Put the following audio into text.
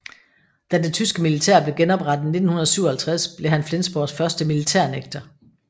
Da det tyske militær blev genoprettet i 1957 blev han Flensborgs første militærnægter